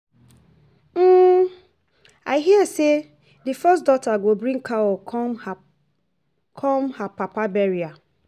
I hear say the first daughter go bring cow come her papa burial